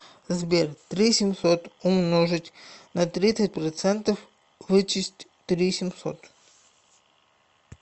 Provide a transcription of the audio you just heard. сбер три семьсот умножить на тридцать процентов вычесть три семьсот